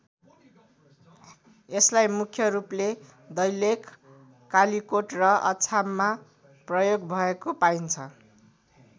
यसलाई मुख्य रूपले दैलेख कालिकोट र अछाममा प्रयोग भएको पाइन्छ।